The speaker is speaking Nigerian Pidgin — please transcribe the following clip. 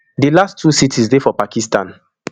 di last two cities dey for pakistan